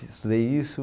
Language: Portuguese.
Estudei isso.